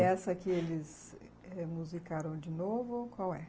E essa que eles remusicaram de novo, qual é?